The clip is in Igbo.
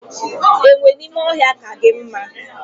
Enwe n'ime ohia ka gi mma